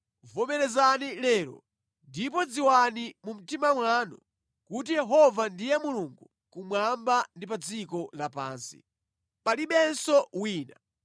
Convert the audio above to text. Vomerezani lero ndipo dziwani mu mtima mwanu kuti Yehova ndiye Mulungu kumwamba ndi pa dziko lapansi. Palibenso wina.